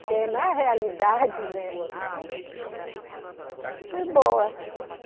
na realidade, né. Foi boa